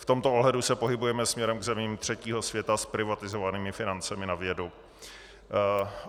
V tomto ohledu se pohybujeme směrem k zemím třetího světa s privatizovanými financemi na vědu.